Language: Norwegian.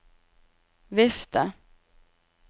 vifte